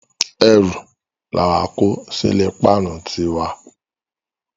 Erù làwa kó sí ilé páánu ti wa.